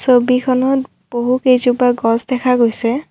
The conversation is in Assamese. ছবিখনত বহু কেইজোপা গছ দেখা গৈছে।